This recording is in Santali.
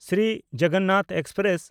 ᱥᱨᱤ ᱡᱚᱜᱚᱱᱟᱛᱷ ᱮᱠᱥᱯᱨᱮᱥ